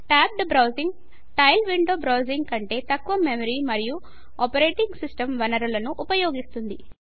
tabbed browsing tiled window browsing కంటే తక్కువ memory మరియు ఆపరేటింగ్ సిస్టమ్ వనరులను ఉపయోగిస్తుంది